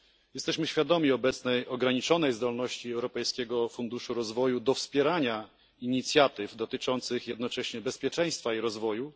Jesteśmy świadomi obecnej ograniczonej zdolności Europejskiego Funduszu Rozwoju do wspierania inicjatyw dotyczących jednocześnie bezpieczeństwa i rozwoju.